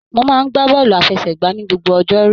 Mó máa n gbà bọọlu àfẹ́sẹ̀gbà ní gbogbo ọjọ́rú.